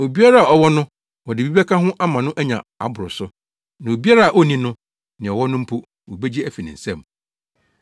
Obiara a ɔwɔ no, wɔde bi bɛka ho ama no anya aboro so. Na obiara a onni no, nea ɔwɔ no mpo, wobegye afi ne nsam.